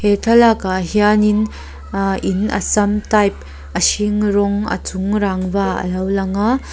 he thlalakah hianin ahh in assam type a hring ranwg a chung rangva a lo lang a.